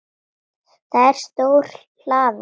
Það er stór hlaða.